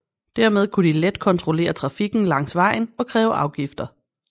Dermed kunne de let kontrollere trafikken langs vejen og kræve afgifter